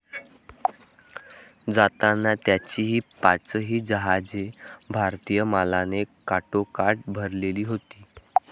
जाताना त्याची हि पाची जहाजे भारतीय मालाने काठोकाठ भरलेली होती